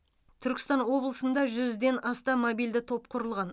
түркістан облысында жүзден астам мобильді топ құрылған